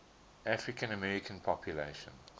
african american population